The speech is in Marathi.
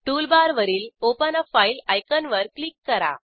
टूलबारवरील ओपन आ फाइल आयकॉन वर क्लिक करा